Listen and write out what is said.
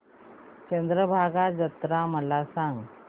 चंद्रभागा जत्रा मला सांग